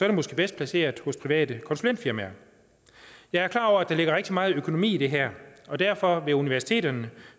det måske bedst placeret hos private konsulentfirmaer jeg er klar over at der ligger rigtig meget økonomi i det her og derfor vil universiteterne